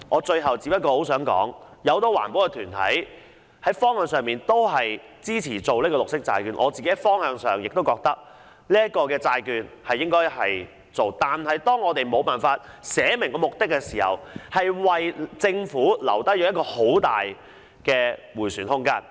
最後我想說，很多環保團體支持發行綠色債券的方向，我也認為應該發行綠色債券，但當沒有列明目的時，便會為政府留下很大的迴旋空間。